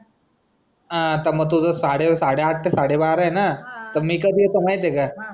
आता मग तुझा साडे आठ ते साडे बारा आहे ना तर मी कधी येतो माहिती आहे का